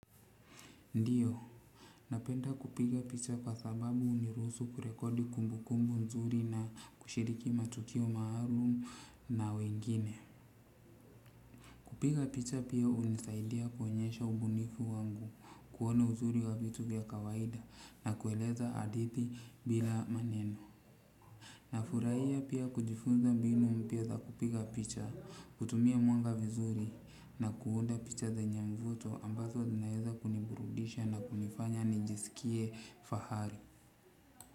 Ndio. Napenda kupiga picha kwa sababu huniruhusu kurekodi kumbu kumbu nzuri na kushiriki matukio maarum na wengine. Kupiga picha pia hunisaidia kuonyesha ubunifu wangu kuona uzuri wa vitu vya kawaida na kueleza hadithi bila maneno. Na furahia pia kujifunza mbinu mpya za kupiga picha, kutumia mwanga vizuri na kuunda picha zenye mvuto ambazo naeza kuniburudisha na kunifanya nijisikie fahari.